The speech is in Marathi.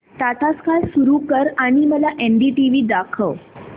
टाटा स्काय सुरू कर आणि मला एनडीटीव्ही दाखव